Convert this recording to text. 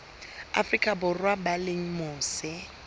afrika borwa ba leng mose